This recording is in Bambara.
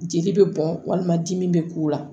Jeli bɛ bɔn walima dimi bɛ k'u la